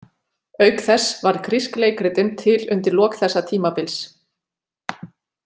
Auk þess varð grísk leikritun til undir lok þessa tímabils.